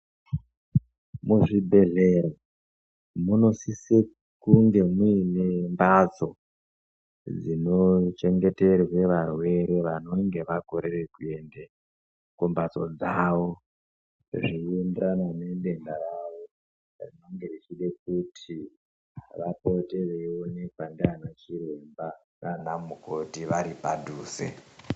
Muzvibhehlera munosisa kunge muine mhatso dzinochengeterwa varwere vanonga vakorera kuyende kumbatso dzavo zveyienderana nedenda ravo rinenge reida kuti vapote veyionekwa ndiyana mukoti naana chiremba vari padhuze.